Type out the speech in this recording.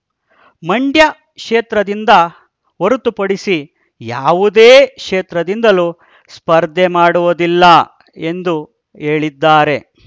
ಮಂಡ್ಯ ಕ್ಷೇತ್ರದಿಂದ ಹೊರತುಪಡಿಸಿ ಯಾವುದೇ ಕ್ಷೇತ್ರದಿಂದಲೂ ಸ್ಪರ್ಧೆ ಮಾಡುವುದಿಲ್ಲ ಎಂದು ಹೇಳಿದ್ದಾರೆ